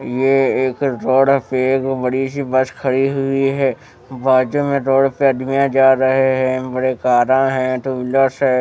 ये एक रोड पे एक बड़ी सी बस खड़ी हुई है बाजू में रोड पे अदमिया जा रहे हैं बड़े कारा हैं टू व्हीलर्स हैं।